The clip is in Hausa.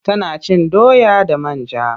Tana cin doya da man ja.